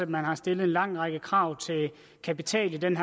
man har stillet en lang række krav til kapital i denne